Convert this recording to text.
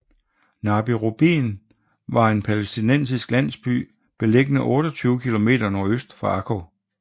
Nabi Rubin var en palæstinensisk landsby beliggende 28 kilometer nordøst for Akko